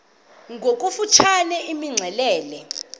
ngokofu tshane imxelele